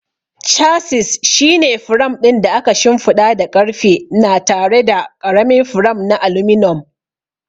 Chassis shine firam ɗin da aka shimfiɗa da ƙarfe na tare da ƙaramin firam na aluminum.